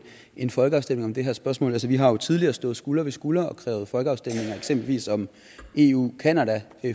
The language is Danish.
en folkeafstemning om det her spørgsmål altså vi har jo tidligere stået skulder ved skulder og krævet folkeafstemning eksempelvis om eu canada